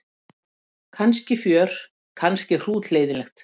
Kannski fjör kannski hrútleiðinlegt.